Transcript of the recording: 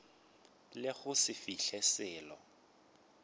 le go se fihle selo